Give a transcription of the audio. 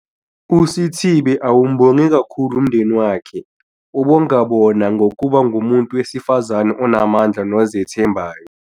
uSithibe awubonge kakhulu umndeni wakhe, ubongabona ngokuba ngumuntu wesifazane onamandla nozethembayo.